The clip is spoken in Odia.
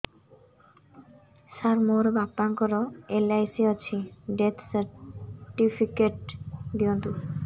ସାର ମୋର ବାପା ଙ୍କର ଏଲ.ଆଇ.ସି ଅଛି ଡେଥ ସର୍ଟିଫିକେଟ ଦିଅନ୍ତୁ